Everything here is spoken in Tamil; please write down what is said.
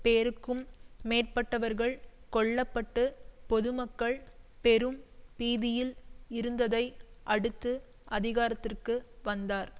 பேருக்கும் மேற்பட்டவர்கள் கொல்ல பட்டு பொதுமக்கள் பெரும் பீதியில் இருந்ததை அடுத்து அதிகாரத்திற்கு வந்தார்